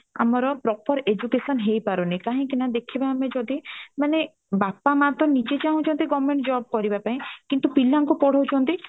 ଆମର proper education ହେଇ ପାରୁନି କାଇଁ କି ନା ଦେଖିବା ଆମେ ଯଦି ମାନେ ବାପା ମା ତ ନିଜେ ଚାହୁଁଚ ତି government job କରିବା ପାଇଁ କିନ୍ତୁ ପିଲାଙ୍କୁ ପଢଉଛନ୍ତି